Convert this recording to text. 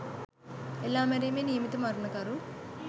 එල්ලා මැරීමේ නියමිත මරණකරු